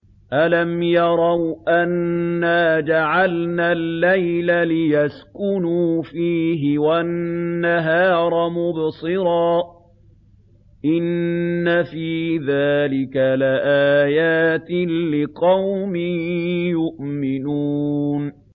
أَلَمْ يَرَوْا أَنَّا جَعَلْنَا اللَّيْلَ لِيَسْكُنُوا فِيهِ وَالنَّهَارَ مُبْصِرًا ۚ إِنَّ فِي ذَٰلِكَ لَآيَاتٍ لِّقَوْمٍ يُؤْمِنُونَ